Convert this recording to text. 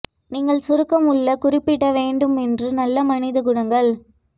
நீங்கள் சுருக்கம் உள்ள குறிப்பிட வேண்டும் என்று நல்ல மனித குணங்கள்